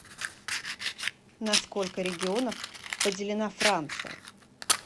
на сколько регионов поделена франция